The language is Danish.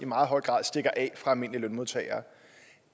i meget høj grad stikker af fra almindelige lønmodtagere